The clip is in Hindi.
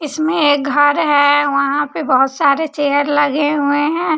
इसमें एक घर है वहां पे बहुत सारे चेयर लगे हुए हैं।